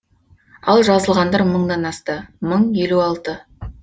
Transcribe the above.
ал жазылғандар мыңнан асты мың елу алты